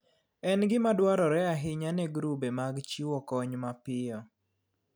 En gima dwarore ahinya ne grube mag chiwo kony mapiyo.